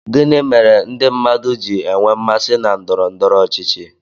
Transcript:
gịnị kpatara ndị mmadụ ji enwe mmasị na ndọrọ ndọrọ ọchịchị